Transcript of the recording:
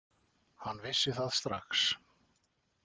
Hann vissi það strax.